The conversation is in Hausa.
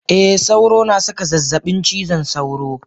Eh sauro na saka zazzabin cizon sauro.